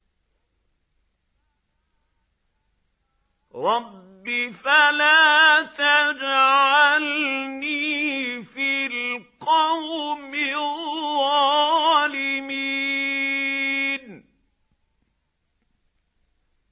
رَبِّ فَلَا تَجْعَلْنِي فِي الْقَوْمِ الظَّالِمِينَ